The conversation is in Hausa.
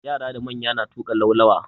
Yara da manya na tuƙa laulawa.